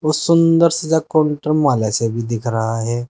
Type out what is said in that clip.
वो सुंदर सजा काउंटर माले से भी दिख रहा है।